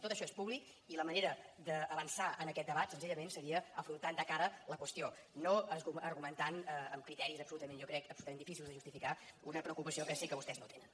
tot això és públic i la manera d’avançar en aquest debat senzillament seria afrontant de cara la qüestió no argumentant amb criteris absolutament jo crec difícils de justificar una preocupació que sé que vostès no tenen